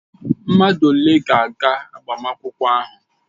Mmadụ ole ga-aga agbamakwụkwọ ahụ?